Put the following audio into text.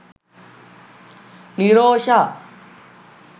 nirosha